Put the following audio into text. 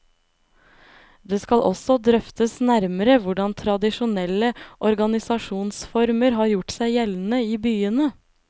Det skal også drøftes nærmere hvordan tradisjonelle organisasjonsformer har gjort seg gjeldende i byene.